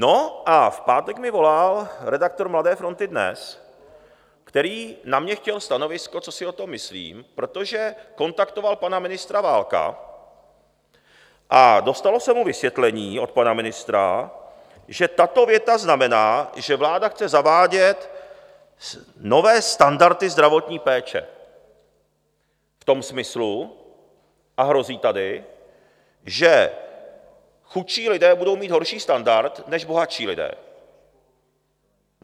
No a v pátek mi volal redaktor Mladé fronty DNES, který na mně chtěl stanovisko, co si o tom myslím, protože kontaktoval pana ministra Válka a dostalo se mu vysvětlení od pana ministra, že tato věta znamená, že vláda chce zavádět nové standardy zdravotní péče v tom smyslu a hrozí tady, že chudší lidé budou mít horší standard než bohatší lidé.